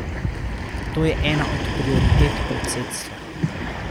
To je ena od prioritet predsedstva.